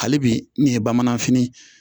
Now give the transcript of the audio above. Hali bi ne ye bamananfini